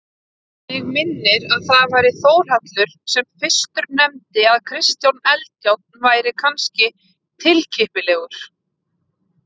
Mig minnir það væri Þórhallur sem fyrstur nefndi að Kristján Eldjárn væri kannski tilkippilegur.